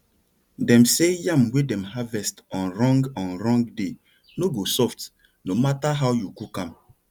them say yam wey dem harvest on wrong on wrong day no go soft no matter how you cook am